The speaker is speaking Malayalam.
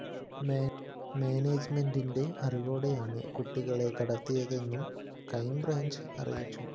മാനേജ്‌മെന്റിന്റെ അറിവോടെയാണ് കുട്ടികളെ കടത്തിയതെന്നും ക്രൈംബ്രാഞ്ച് അറിയിച്ചു